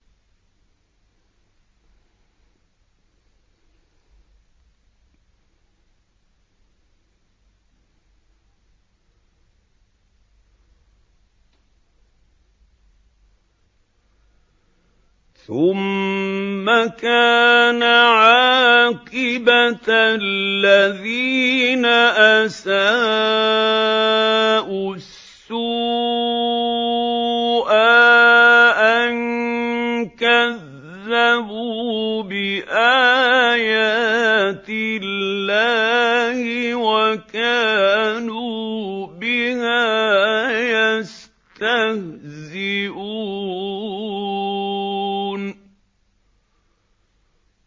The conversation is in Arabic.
ثُمَّ كَانَ عَاقِبَةَ الَّذِينَ أَسَاءُوا السُّوأَىٰ أَن كَذَّبُوا بِآيَاتِ اللَّهِ وَكَانُوا بِهَا يَسْتَهْزِئُونَ